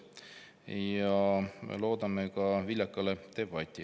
Ja loodame ka viljakat debatti.